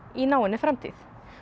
í náinni framtíð